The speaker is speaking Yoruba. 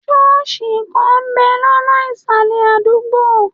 Ṣọ́ọ̀sì kan ń bẹ̀ lọ́nà ìsàlẹ̀ adugbo.